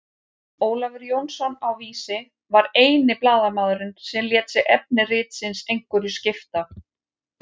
Ólafur Jónsson á Vísi var eini blaðamaðurinn sem lét sig efni ritsins einhverju skipta.